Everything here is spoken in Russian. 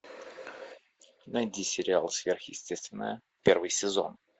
найди сериал сверхъестественное первый сезон